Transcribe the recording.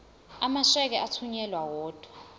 amasheke athunyelwa odwa